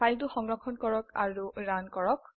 ফাইলটো সংৰক্ষণ কৰক আৰু ৰান কৰক